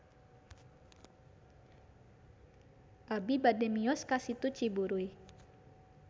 Abi bade mios ka Situ Ciburuy